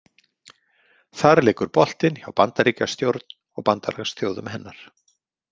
Þar liggur boltinn hjá Bandaríkjastjórn og bandalagsþjóðum hennar.